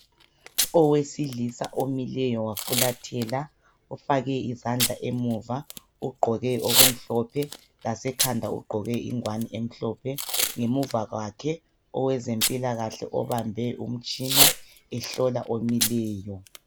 Owesilisa omileyo wafulathela ufake izandla emuva uqgoke okumhlophe lasekhanda uqgoke ingwane emhlophe ngemuva kwakhe owezempila kahle obambe umtshina ehlola omileyo